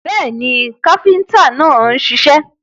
Bẹ́ẹ̀ni, káfíntà náà ń ṣiṣẹ́.